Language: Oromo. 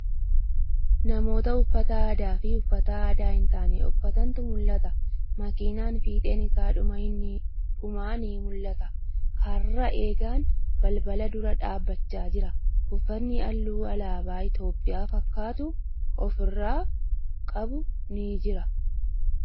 Namoota uffata aadaa fii uffata aadaa hin taane uffatantu mul'ata. Makiinaa fiixeen isa dhumaa ni mul'ata. Karra dheegan balbala dura dhaabbachaa jira. Uffatni halluu alaabaa Itiyoophiyaa fakkaatu ofirraa qabu ni jira.